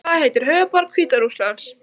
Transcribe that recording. Hvað heitir höfuðborg Hvíta Rússlands?